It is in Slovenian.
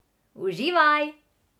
Uživaj!